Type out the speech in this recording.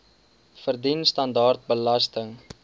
verdien standaard belasting